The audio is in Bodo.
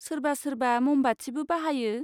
सोरबा सोरबा म'मबाथिबो बाहायो।